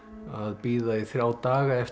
bíða í þrjá daga eftir